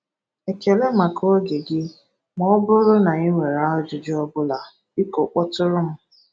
Ekele maka oge gị, ma ọ bụrụ na i nwere ajụjụ ọ bụla, biko kpọtụrụ m.